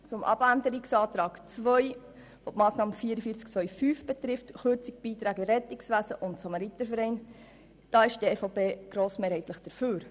Zum Abänderungsantrag 2, der die Massnahme 44.2.5 betrifft, also die Kürzung der Beiträge für das Rettungswesen und die Samaritervereine: Hier ist die EVP grossmehrheitlich dafür.